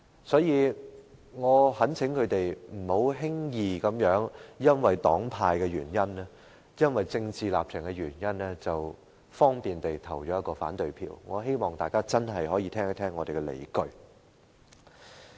所以，我懇請他們不要輕易因為黨派、政治立場的原因，便輕易地投下反對票，我希望大家可以先聽一聽我們的理據。